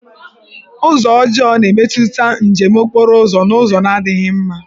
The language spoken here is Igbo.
Ụzọ ọjọọ na-emetụta njem okporo ụzọ n'ụzọ na-adịghị mma.